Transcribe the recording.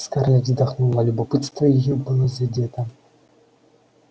скарлетт вздохнула любопытство её было задето